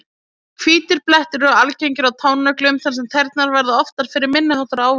Hvítir blettir eru algengari á tánöglum þar sem tærnar verða oftar fyrir minni háttar áverkum.